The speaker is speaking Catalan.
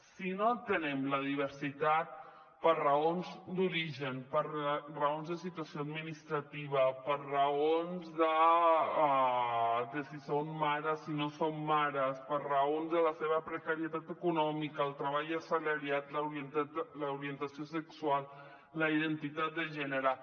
si no atenem la diversitat per raons d’origen per raons de situació administrativa per raons de si són mares o si no són mares per raons de la seva precarietat econòmica el treball assalariat l’orientació sexual la identitat de gènere